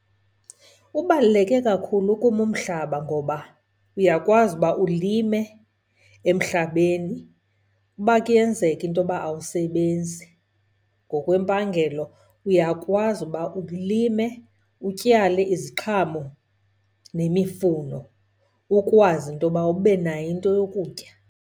Ubaluleke kakhulu kum umhlaba ngoba uyakwazi uba ulime emhlabeni. Uba kuyenzeka intoba awusebenzi, ngokwempangelo uyakwazi uba ulime, utyale iziqhamo nemifuno ukwazi intoba ube nayo into yokutya.